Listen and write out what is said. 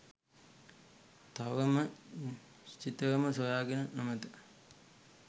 තවම නිශ්චිතවම සොයාගෙන නොමැත.